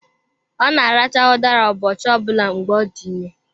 Ọ na-aracha udara ụbọchị ọ bụla mgbe ọ dị ime.